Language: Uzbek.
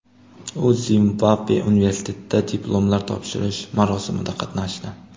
U Zimbabve universitetida diplomlar topshirish marosimida qatnashdi.